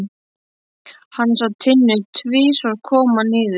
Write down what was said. Hann sá Tinnu tvisvar koma niður.